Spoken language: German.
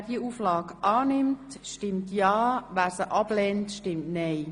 Wer die Auflage annimmt, stimmt ja, wer sie ablehnt, stimmt nein.